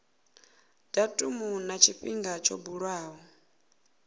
datumu na tshifhinga tsho buliwaho